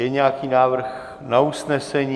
Je nějaký návrh na usnesení?